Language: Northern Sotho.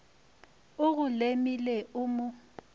o go lemile o mo